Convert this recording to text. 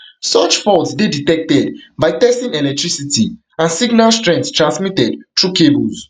such faults dey detected by testing electricity and signal strength transmitted through cables